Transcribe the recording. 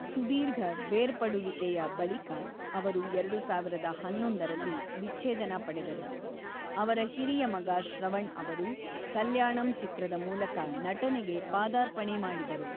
ಸುದೀರ್ಘ ಬೇರ್ಪಡುವಿಕೆಯ ಬಳಿಕ, ಅವರು ಎರಡು ಸಾವಿರದ ಹನ್ನೊಂದರಲ್ಲಿ ವಿಚ್ಛೇದನ ಪಡೆದರು. ಅವರ ಹಿರಿಯ ಮಗ ಶ್ರವಣ್ ಅವರು ಕಲ್ಯಾಣಂ ಚಿತ್ರದ ಮೂಲಕ ನಟನೆಗೆ ಪಾದಾರ್ಪಣೆ ಮಾಡಿದರು.